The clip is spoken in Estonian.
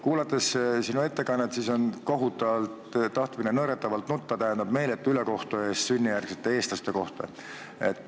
Kuulates sinu ettekannet tekib kohutav tahtmine nõretavalt nutta – mis meeletut ülekohut tehakse sünnijärgsetele Eesti kodanikele.